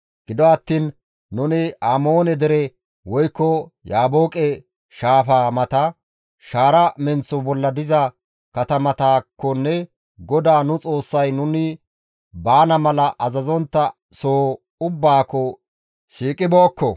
Gido attiin nuni Amoone dere, woykko Yaabooqe shaafaa mata, shaara menththo bolla diza katamataakkonne GODAA nu Xoossay nuni baana mala azazontta soho ubbaakko shiiqibookko.